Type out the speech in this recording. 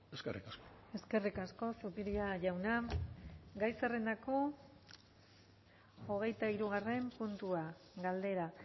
eskerrik asko eskerrik asko zupiria jauna gai zerrendako hogeita hirugarren puntua galdera